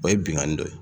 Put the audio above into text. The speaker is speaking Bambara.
O ye binkanni dɔ ye